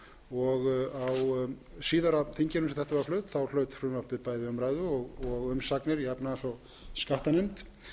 flutt hlaut frumvarpið bæði umræðu og umsagnir í efnahags og skattanefnd